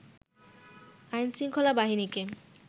আইনশৃঙ্খলা বাহিনীকে